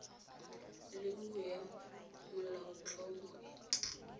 le nngwe ya molaotlhomo e